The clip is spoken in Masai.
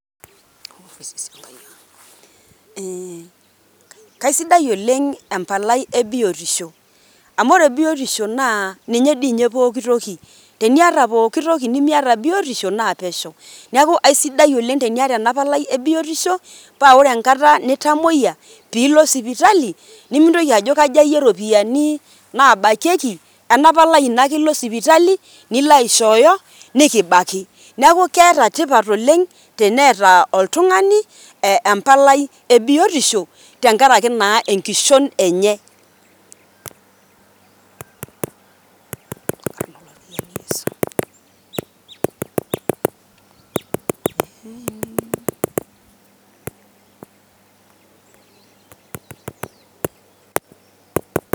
kaisidai oleng empalai e biotisho amu wore biotisho naa ninye toi pooki toki teniata pooki toki niata biotisho naa pesho neaku kaisidai oleng eniata ena palai ebiotisho pawore enkata nitamoyia piilo sipitali nimintoki ajoo kathayie ropiyiani nabakieki ena palai ino ake iloo sipitali nilo aishoyo nikibaki neaku keeta tiipat oleng teenta oltungani empalai ebiotisho tenkaraki naa enkishon enye